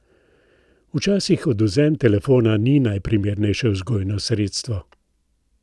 Včasih odvzem telefona ni najprimernejše vzgojno sredstvo.